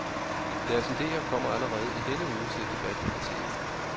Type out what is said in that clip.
Deres idéer kommer allerede i denne uge til debat i partiet.